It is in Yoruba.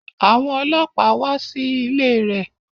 Àwọn ọlọ́pàá wá sí ilé rẹ̀